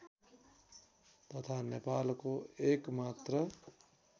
तथा नेपालको एकमात्र